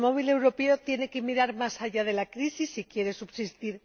El automóvil europeo tiene que mirar más allá de la crisis si quiere subsistir.